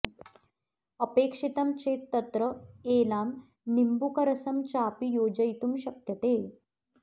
अपेक्षितं चेत् तत्र एलां निम्बूकरसं चापि योजयितुं शक्यते